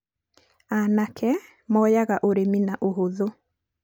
aanake moyaga ũrĩmi na ũhũthũ